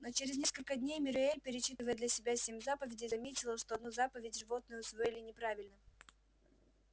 но через несколько дней мюриель перечитывая для себя семь заповедей заметила что одну заповедь животные усвоили неправильно